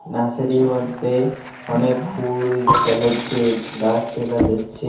নার্সারীর মধ্যে অনেক ফুল দেখা যাচ্ছে গাছ দেখা যাচ্ছে.